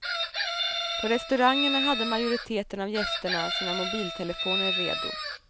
På restaurangerna hade majoriteten av gästerna sina mobiltelefoner redo.